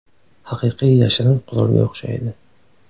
Haqiqiy yashirin qurolga o‘xshaydi.